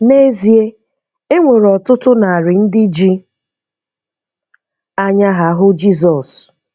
N’ezie, e nwere ọtụtụ narị ndị ji anya ha hụ Jizọs.